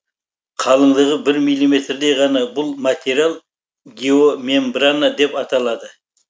қалыңдығы бір миллиметрдей ғана бұл материал геомембрана деп аталады